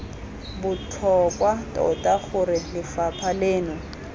botlhokwa tota gore lefapha leno